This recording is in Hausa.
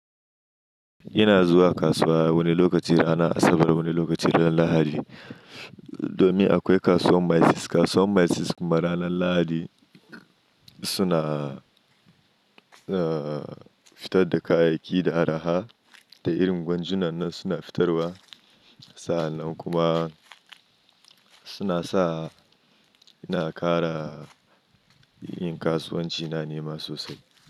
Ina zuwa kasuwa wani lokaci ranan Asabar, wani lokaci ran lahadi. Domin akwai kasuwar maces, kasuwar maces kuma ranan lahadi suna ahhh fitar da kayayyaki da araha da irin gwanjunannan suna fitarwa. Sa'an nan kuma suna sa ina kara yin kasuwanci na ni ma sosai.